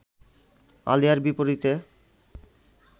আলিয়ার বিপরীতে